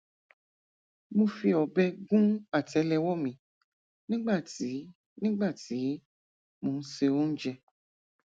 mo fi ọbẹ gún àtẹlẹwọ mi nígbà tí nígbà tí mò ń se oúnjẹ